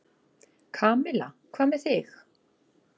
Kamilla, hvað með þig?